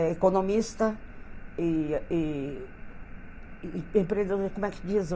É economista e a e e empreendedor como é que diz